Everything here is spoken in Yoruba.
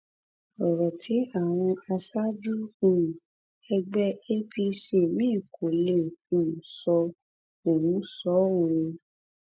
lẹyìn ìṣẹlẹ náà àwọn ajínigbé náà béèrè fún mílíọnù márùndínláàádọta náírà kó tóó di pé wọn lè yọǹda wọn